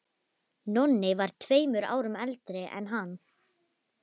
Nonni var tveimur árum eldri en hann.